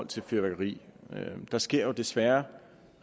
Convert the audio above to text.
til fyrværkeri der sker jo desværre